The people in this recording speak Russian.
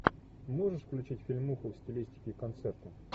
можешь включить фильмуху в стилистике концерта